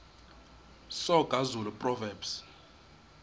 soga zulu proverbs